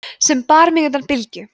sem bar mig undan bylgju